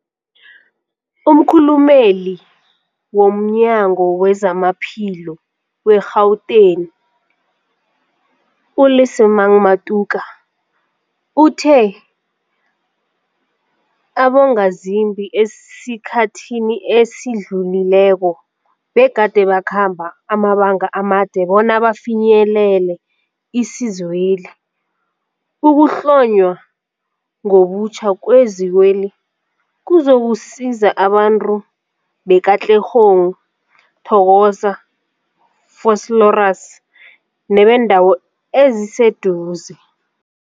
Umkhulumeli womNyango weZamaphilo we-Gauteng, u-Lesemang Matuka uthe abongazimbi esikhathini esidlulileko begade bakhamba amabanga amade bona bafinyelele isizweli. Ukuhlonywa ngobutjha kwezikweli kuzokusiza abantu be-Katlehong, Thokoza, Vosloorus nebeendawo eziseduze.